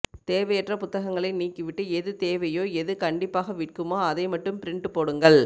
தேவையற்ற புத்தகங்களை நீக்கி விட்டு எது தேவையோ எது கண்டிப்பாக விற்க்குமோ அதை மட்டும் பிரிண்ட் போடுங்கள்